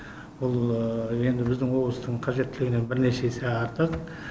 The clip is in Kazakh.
ол енді біздің облыстың қажеттілігінен бірнеше есе артық